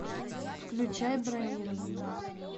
включай бронирование